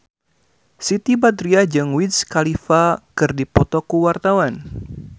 Siti Badriah jeung Wiz Khalifa keur dipoto ku wartawan